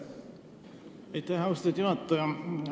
Aitäh, austatud juhataja!